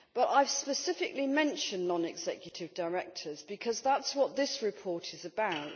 I have specifically mentioned non executive directors because that is what this report is about.